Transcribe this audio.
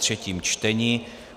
třetí čtení